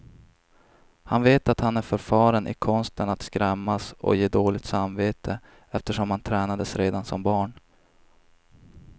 Han vet att han är förfaren i konsten att skrämmas och ge dåligt samvete, eftersom han tränades redan som barn.